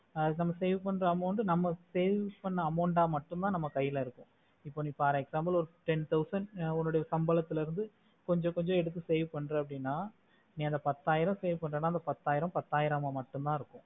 அது நம்ம save பண்ற amount நம்ம savings பண்ண amount ஆஹ் மட்டும்தா நம்ம கைலா இருக்கும் இப்போ நீ for example ஒரு ten thousand உன்னோட சம்பளத்துல இருந்து கொஞ்ச கொஞ்ச எடுத்து save பண்ற அப்புடினா நீ அந்த பத்தயிரம் பத்தஈரமா மட்டும்தா இருக்கும்